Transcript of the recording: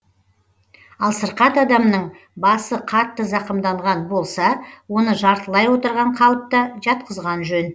ал сырқат адамның басы қатты зақымданған болса оны жартылай отырған қалыпта жатқызған жөн